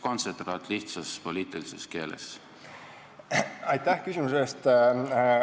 Aitäh küsimuse eest!